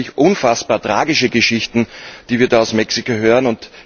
Das sind natürlich unfassbar tragische Geschichten, die wir da aus Mexiko hören.